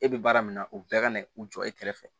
E bɛ baara min na o bɛɛ kana u jɔ e kɛrɛfɛ